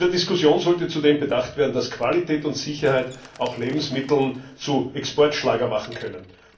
In der Diskussion sollte zudem bedacht werden, dass Qualität und Sicherheit auch Lebensmittel zu Exportschlagern machen können.